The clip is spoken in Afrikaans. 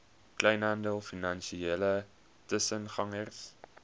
kleinhandel finansiële tussengangers